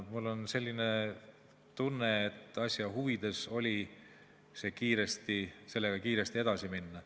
Mul on selline tunne, et asja huvides oli sellega kiiresti edasi minna.